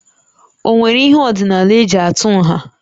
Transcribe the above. Ọ nwere ihe ọdịnala eji atụ nha?